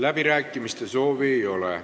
Läbirääkimiste soovi ei ole.